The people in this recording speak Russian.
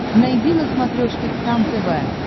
найди на смотрешке кхлм тв